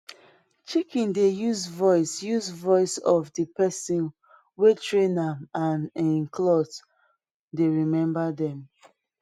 chicken dey use voice use voice of di pesin wey train am and em cloth dey remember dem